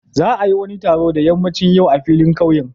Za a yi wani taron da ƴammacin yau a filin ƙauyen.